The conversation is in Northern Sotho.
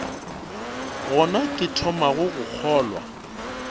gona ke thomago go kgolwa